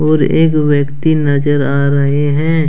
और एक व्यक्ति नजर आ रहे हैं।